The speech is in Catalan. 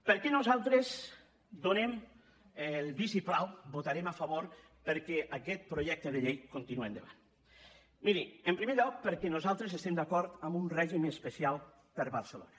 per què nosaltres donem el vistiplau votarem a favor perquè aquest projecte de llei continue endavant miri en primer lloc perquè nosaltres estem d’acord en un règim especial per a barcelona